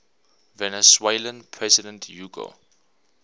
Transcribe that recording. venezuelan president hugo